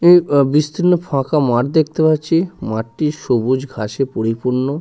এ আ বিস্তীর্ণ ফাঁকা মাঠ দেখতে পাচ্ছি। মাঠটি সবুজ ঘাসে পরিপূর্ন ।